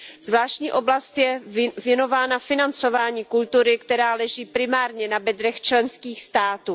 Zvláštní oblast je věnována financování kultury, které leží primárně na bedrech členských států.